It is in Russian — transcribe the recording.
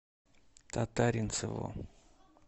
татаринцеву